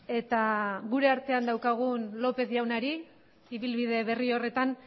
eta gure artean daukagun lópez jaunari ibilbide berri horretan